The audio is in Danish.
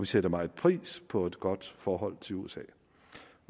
sætter meget pris på et godt forhold til usa